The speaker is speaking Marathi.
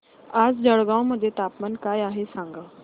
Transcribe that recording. आज जळगाव मध्ये तापमान काय आहे सांगा